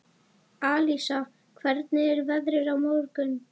Alísa, hvernig er veðrið á morgun?